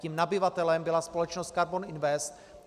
Tím nabyvatelem byla společnost Karbon Invest.